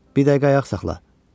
Bir dəqiqə ayaq saxla.